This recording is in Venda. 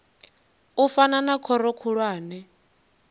u fana na khoro khulwane